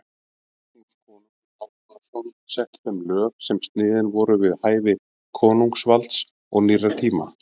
Magnús konungur Hákonarson setti þeim lög sem sniðin voru við hæfi konungsvalds og nýrra tíma.